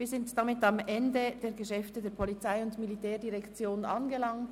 Wir sind damit am Ende der Geschäfte der POM angelangt.